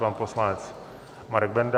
Pan poslanec Marek Benda.